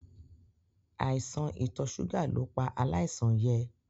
Àìsàn itọ̀ ṣúgà ló pa aláìsàn yẹ.